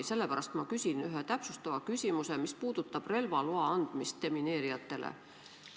Sellepärast ma küsin ühe täpsustava küsimuse, mis puudutab relvaloa andmist demineerijatele.